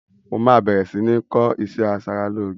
Mo máa bẹ̀rẹ̀ si ni kọ́ ìṣẹ́ asaralóge